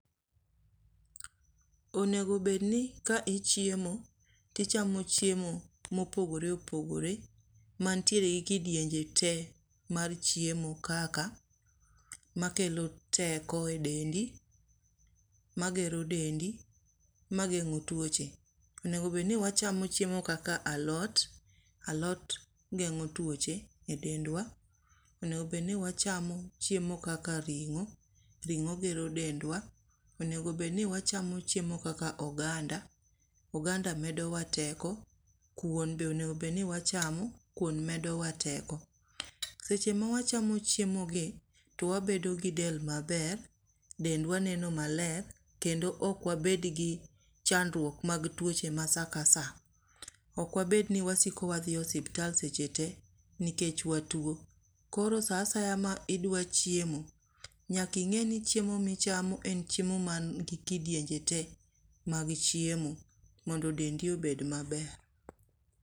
Onego bed ni ka ichiemo to ichamo chiemo ma opogore opogore mantiere gi kidienje te mar chiemo kaka makelo teko e dendi, magero dendi, mageng'o tuoche. Onego bed ni wachamo alot, alot geng'o tuoche e dendwa, onego bed ni wachamo chiemo kaka ring'o, ring'o gero dendwa, onego bed ni wachamo chiemo kaka oganda, oganda medowa teko. Kuon bende onego bed ni wachamo, kuon medowa teko. Seche ma wachamo chiemo gi to wabedo gi del maler, dendwa neno maler, kendo ok wabed gi chandruok mag tuoche ma saa ka saa. Ok wabed ni wasiko wadhi e osiptal seche tee nikech watuo. Koro saa asaya ma idwa chiemo, nyaka ing'e ni chiemo ni gi kidienje tee mag chiemo mondo dendi obed maber.